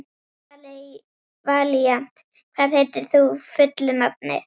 Valíant, hvað heitir þú fullu nafni?